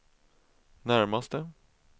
närmaste